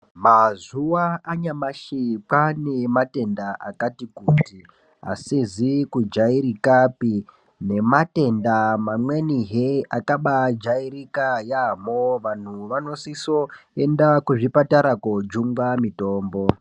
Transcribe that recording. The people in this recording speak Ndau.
Mazuwa anyamashi kwaane matenda akati kuti asizi kujairikapi nematenda mamweni akabaajairika yaamho vanhu vanosiso enda kuzvipatara koojungwa mitombo.